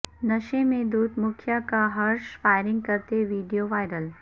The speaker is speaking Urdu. نشے میں دھت مکھیا کا ہرش فائر نگ کرتے ویڈیو وائرل